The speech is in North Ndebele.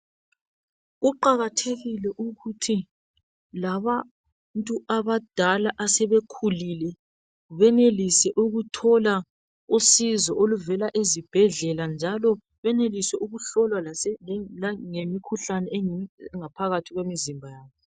Kuqakathekile ukuthi labantu abadala asebekhulile benelise ukuthola usizo oluvela ezibhedlela njalo benelise ukuhlolwa imikhuhlane engaphakathi kwemizimba yabo.